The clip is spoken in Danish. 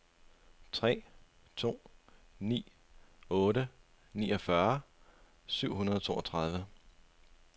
tre to ni otte niogfyrre syv hundrede og toogtredive